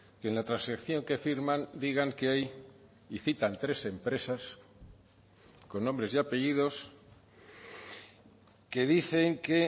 que en la transacción que firman digan que hay y citan tres empresas con nombres y apellidos que dicen que